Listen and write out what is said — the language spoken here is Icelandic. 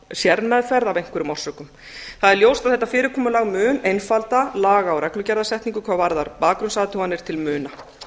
sérmeðferð af einhverjum orsökum það er ljóst að þetta fyrirkomulag mun einfalda laga og reglugerðarsetningu hvað varðar bakgrunnsathuganir til muna